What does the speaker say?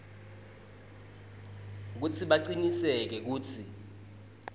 kutsi bacinisekise kutsi